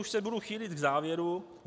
Už se budu chýlit k závěru.